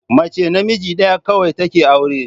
Mace namiji ɗaya kawai take aure